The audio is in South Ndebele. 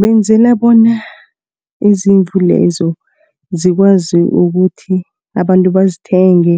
Benzela bona izimvu lezo zikwazi ukuthi abantu bazithenge